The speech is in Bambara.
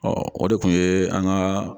Ɔ o de kun ye an ka